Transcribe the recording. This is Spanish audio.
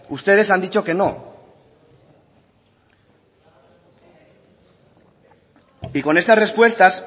ustedes han dicho que no y con estas respuestas